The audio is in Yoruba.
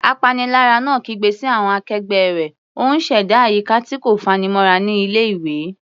Apanilára náà kígbe sí àwọn akẹgbẹ́ rẹ̀, ó ń ṣẹ̀dá àyíká tí kò fanimọ́ra ní ilé-ìwé.